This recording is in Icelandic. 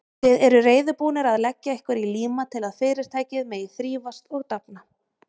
Þið eruð reiðubúnir að leggja ykkur í líma til að Fyrirtækið megi þrífast og dafna.